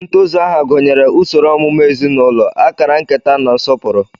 Ntozu aha gụnyere usoro ọmụmụ ezinụlọ, akara nketa na nsọpụrụ.